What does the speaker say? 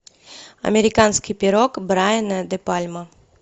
американский пирог брайана де пальма